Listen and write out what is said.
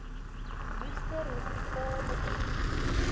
worcester hospitaal bekend